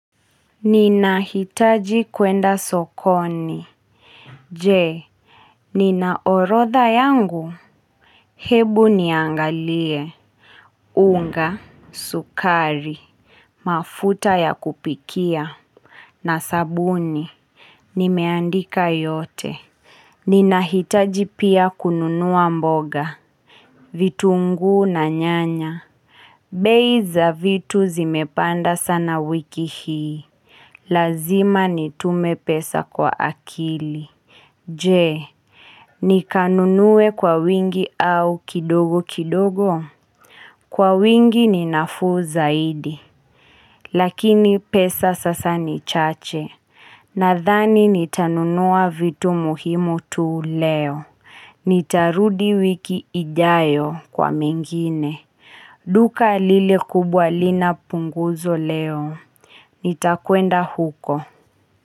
Ninahitaji kwenda sokoni. Je, nina orodha yangu? Hebu niangalie. Unga, sukari, mafuta ya kupikia na sabuni. Nimeandika yote. Ninahitaji pia kununua mboga. Vitunguu na nyanya. Bei za vitu zimepanda sana wiki hii. Lazima nitume pesa kwa akili. Je, nikanunue kwa wingi au kidogo kidogo? Kwa wingi ni nafuu zaidi. Lakini pesa sasa ni chache. Nadhani nitanunua vitu muhimu tu leo. Nitarudi wiki ijayo kwa mengine. Duka lile kubwa lina punguzo leo. Nitakwenda huko.